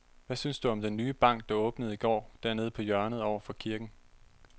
Hvad synes du om den nye bank, der åbnede i går dernede på hjørnet over for kirken?